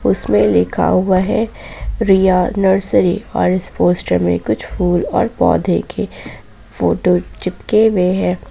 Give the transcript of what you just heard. उसमें लिखा हुआ है रिया नर्सरी और इस पोस्टर में कुछ फूल और पौधे के फोटो चिपके हुए हैं।